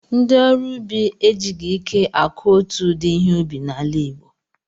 Ndị ọrụ ubi e jighị ike akụ otu ụdị ihe ubi n'ala Igbo.